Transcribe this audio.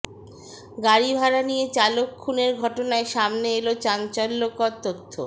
গাড়ি ভাড়া নিয়ে চালক খুনের ঘটনায় সামনে এল চাঞ্চল্যকর তথ্য